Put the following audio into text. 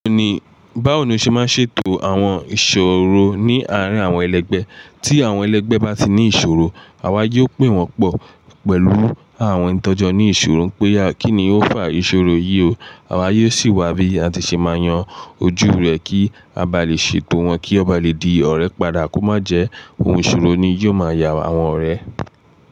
Báwo ni o ṣe máa ń ṣètò àwọn ìṣòro ní àárín àwọn ẹlẹgbẹ́ tí àwọn ẹlẹgbẹ́ bá ti ní ìṣòro? Àwa yóò pè wọ́n pọ̀ pẹ̀lú àwọn ìtọ́jú ní ìṣòro pé kí ni ó fà ìṣòro yìí o. Àwa yóò sì wá bí atisema yan ojú rẹ̀ kí abalẹ ètò wọ́n kíwọ́n balẹ̀ di ọ̀rẹ́ padà kó májẹ òhùn ìṣòro ni yóò ma ya àwọn ọ̀rẹ́.